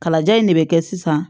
Kalaja in de be kɛ sisan